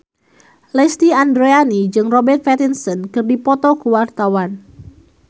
Lesti Andryani jeung Robert Pattinson keur dipoto ku wartawan